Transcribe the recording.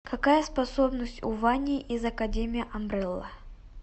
какая способность у вани из академии амбрелла